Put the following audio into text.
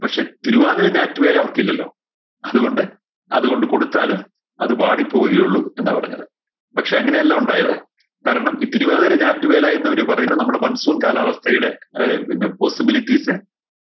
പക്ഷേ തിരുവാതിര ഞാറ്റുവേല അവർക്കില്ലല്ലോ അതുകൊണ്ട് അതുകൊണ്ട് കൊടുത്താലും അത് വാടിപ്പോവുകയേ ഉള്ളൂ എന്നാ പറഞ്ഞത് പക്ഷെ അങ്ങനെയല്ല ഉണ്ടായത് കാരണം ഈ തിരുവാതിര ഞാറ്റുവേല എന്നിവര് പറയുന്നത് നമ്മുടെ mansoon കാലാവസ്ഥയുടെ ഏർ പിന്നെ possibilities